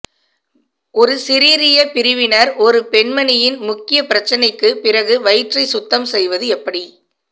ஒரு சிசிரிய பிரிவினர் ஒரு பெண்மணியின் முக்கிய பிரச்சினைக்குப் பிறகு வயிற்றை சுத்தம் செய்வது எப்படி